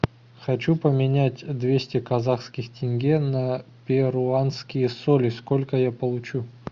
хочу поменять двести казахских тенге на перуанские соли сколько я получу